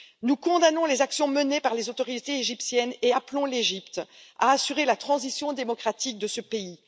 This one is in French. Nous condamnons les actions menées par les autorités égyptiennes et appelons l'Égypte à assurer la transition démocratique de ce pays.